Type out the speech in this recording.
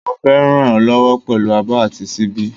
Mo fé ràn e lówó pèlú abó àti síbí